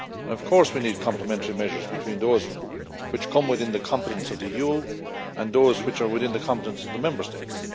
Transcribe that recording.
Of course we need complementary measures between those which come within the competence of the EU and those which are within the competence of the Member States.